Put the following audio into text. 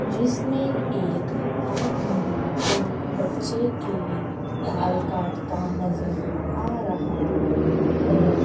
जिसमें एक आदमी एक बच्चे के बाल काटता नजर आ रहा है।